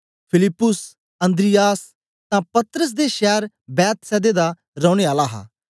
फिलिप्पुस अन्द्रियास तां पतरस दे शैर बेतसैदा दा रौने आला हा